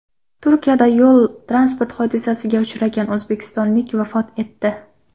Turkiyada yo‘l-transport hodisasiga uchragan o‘zbekistonlik vafot etdi.